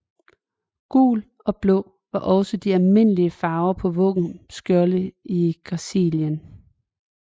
Gul og blå var også de almindelige farver på våbenskjolde i Galicien